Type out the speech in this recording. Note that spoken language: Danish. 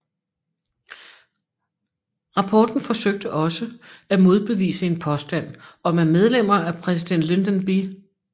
Rapporten forsøgte også at modbevise en påstand om at medlemmer af præsident Lyndon B